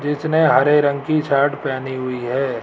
जिसने हरे रंग की शर्ट पहनी हुई है।